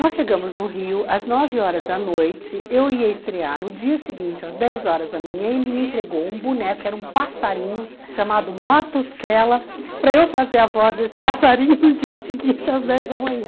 Nós chegamos no Rio, às nove horas da noite, eu ia estrear no dia seguinte, às dez horas da manhã, ele me entregou um boneco, que era um passarinho, chamado Matosquela, para eu fazer a voz desse passarinho no dia seguinte, às dez da manhã.